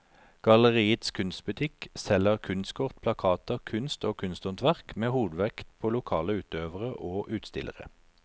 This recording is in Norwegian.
Galleriets kunstbutikk selger kunstkort, plakater, kunst og kunsthåndverk med hovedvekt på lokale utøvere og utstillere.